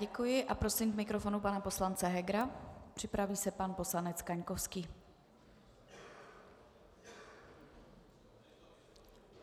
Děkuji a prosím k mikrofonu pana poslance Hegera, připraví se pan poslanec Kaňkovský.